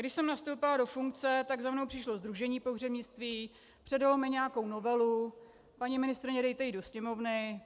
Když jsem nastoupila do funkce, tak za mnou přišlo Sdružení pohřebnictví, předalo mi nějakou novelu: Paní ministryně, dejte ji do Sněmovny.